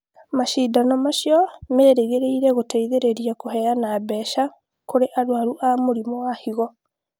Macindano macio merĩgĩrĩire gũteithĩrĩria kũheana mbeca kũrĩ arũaru a mũrimũ wa higo